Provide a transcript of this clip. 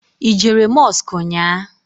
I jere Mọsk nnyaa?